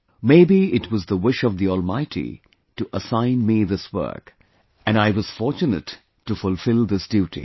Maybe it was the wish of the Almighty to assign me this work... and I was fortune to fulfil this duty